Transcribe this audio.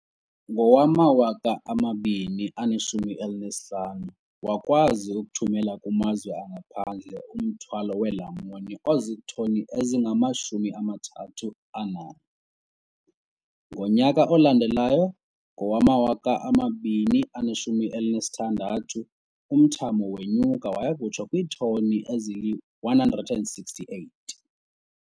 Ngowama-2015, wakwazi ukuthumela kumazwe angaphandle umthwalo weelamuni ozitoni ezingama-31. Ngonyaka olandelayo, ngowama-2016, umthamo wenyuka waya kutsho kwiitoni ezili-168.